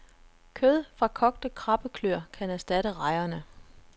Kød fra kogte krabbeklør kan erstatte rejerne.